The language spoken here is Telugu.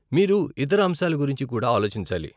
మీరు ఇతర అంశాల గురించి కూడా ఆలోచించాలి.